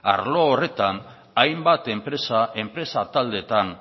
arlo horretan hainbat enpresa enpresa taldeetan